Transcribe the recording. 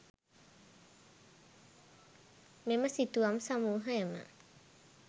මෙම සිතුවම් සමූහයම